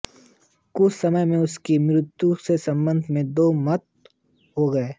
कुछ समय में उसकी मृत्यु के संबंध में दो मत हो गए